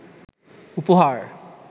উপহার